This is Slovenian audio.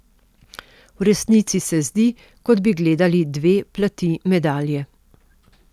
V resnici se zdi, kot bi gledali dve plati medalje.